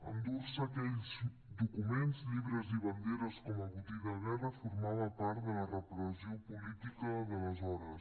endur se aquells documents llibres i banderes com a botí de guerra formava part de la repressió política d’aleshores